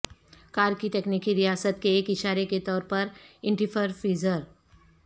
کار کی تکنیکی ریاست کے ایک اشارے کے طور ینٹیفرفیزر